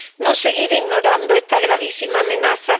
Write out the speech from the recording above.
no seguir ignorando esta gravísima amenaza.